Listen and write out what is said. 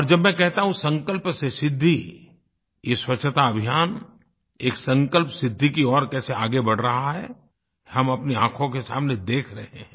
और जब मैं कहता हूँ संकल्प से सिद्धि ये स्वच्छताअभियान एक संकल्पसिद्धि की ओर कैसे आगे बढ़ रहा है हम अपनी आँखों के सामने देख रहे हैं